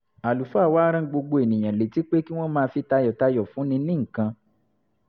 àlùfáà wa rán gbogbo èèyàn létí pé kí wọ́n máa fi tayọ̀tayọ̀ fúnni ní nǹkan